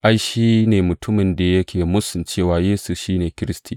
Ai, shi ne mutumin da yake mūsun cewa Yesu shi ne Kiristi.